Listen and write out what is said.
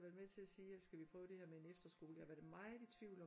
Været med til at sige at skal vi prøve det her med en efterskole jeg havde været meget i tvivl